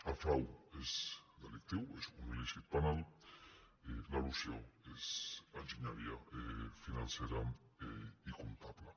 el frau és delictiu és un il·lícit penal l’elusió és enginyeria financera i comptable